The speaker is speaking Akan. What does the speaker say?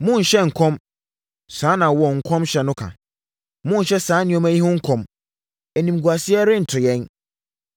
“Monnhyɛ nkɔm,” saa na wɔn nkɔmhyɛfoɔ no ka. “Monnhyɛ saa nneɛma yi ho nkɔm; animguaseɛ rento yɛn.”